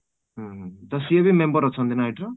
ହୁଁ ହୁଁ ତ ସିଏ ବି member ଅଛନ୍ତି ନା ଏଇଠି